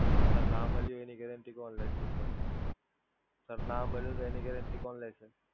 Sir, ના મલ્યુ એની guarantee કોણ લેશે? Sir, ના મલ્યુ એની guarantee કોણ લેશે?